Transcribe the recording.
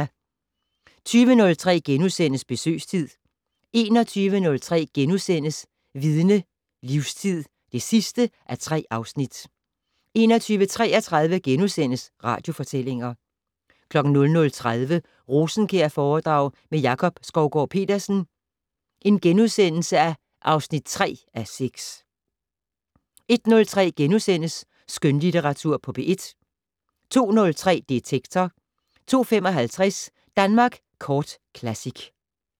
20:03: Besøgstid * 21:03: Vidne - Livstid (3:3)* 21:33: Radiofortællinger * 00:30: Rosenkjærforedrag med Jakob Skovgaard-Petersen (3:6)* 01:03: Skønlitteratur på P1 * 02:03: Detektor 02:55: Danmark Kort Classic